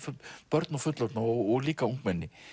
börn og fullorðna og líka ungmenni